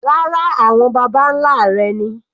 Rárá, àwọn baba nlá rẹ̀ ni.